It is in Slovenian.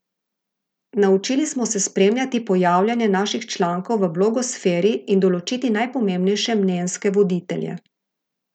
Naučili smo se spremljati pojavljanje naših člankov v blogosferi in določiti najpomembnejše mnenjske voditelje.